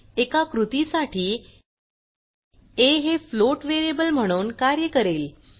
एका कृतीसाठी आ हे फ्लोट व्हॅरिबल म्हणून कार्य करेल